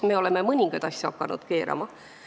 Me oleme hakanud mõningaid asju tagasi keerama.